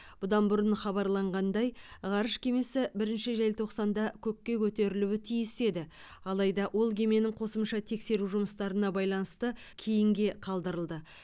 бұдан бұрын хабарланғандай ғарыш кемесі бірінші желтоқсанда көкке көтерілуі тиіс еді адайда ол кеменің қосымша тексеру жұмыстарына байланысты кейінге қалдырылды